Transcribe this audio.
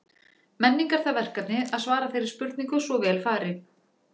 Menning er það verkefni að svara þeirri spurningu svo vel fari.